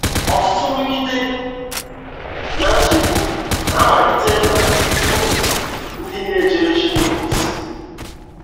Ọtụtụ nrụgide na nchegbu na amalite na ndụ ndi na ejere Chineke ozi.